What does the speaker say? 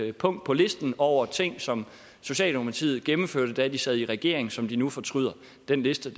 et punkt på listen over ting som socialdemokratiet gennemførte da de sad i regering som de nu fortryder den liste